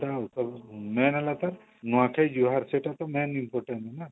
main ହେଲା ତ ନୂଆଖାଇଜୁହାର ସେଇଟା ତ main important ନା